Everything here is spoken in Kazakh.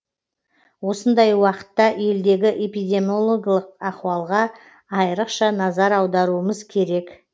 осындай уақытта елдегі эпидемиологиялық ахуалға айрықша назар аударуымыз керек